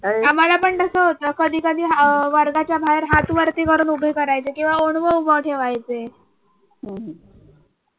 आम्हाला पण तसं होतं कधी कधी अह वर्गाच्या बाहेर हात वरती करून उभे करायचे किंवा ओणवे उभं ठेवायचे.